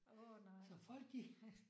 Åh nej